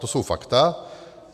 To jsou fakta.